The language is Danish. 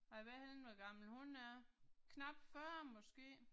Og jeg ved ikke hvor gammel hun er. Knap 40 måske